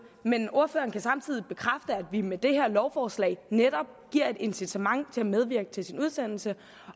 men ordføreren kan samtidig bekræfte at vi med det her lovforslag netop giver et incitament til at medvirke til sin udsendelse